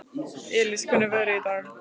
Elis, hvernig er veðrið í dag?